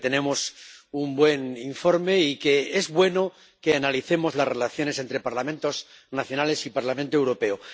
creo que tenemos un buen informe y que es bueno que analicemos las relaciones entre Parlamentos nacionales y Parlamento Europeo.